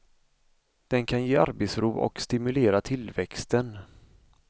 Den kan ge arbetsro och stimulera tillväxten.